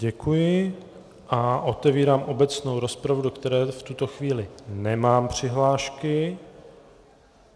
Děkuji a otevírám obecnou rozpravu, do které v tuto chvíli nemám přihlášky.